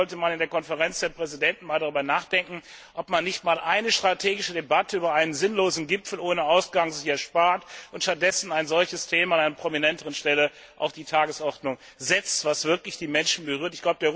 Vielleicht sollte man in der Konferenz der Präsidenten einmal darüber nachdenken, ob man sich nicht einmal eine strategische Debatte über einen sinnlosen Gipfel ohne Ausgang erspart und stattdessen ein solches Thema an prominenterer Stelle auf die Tagesordnung setzt, das wirklich die Menschen berührt.